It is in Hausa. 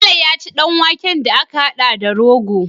Bello ya ci dan waken da aka hada da rogo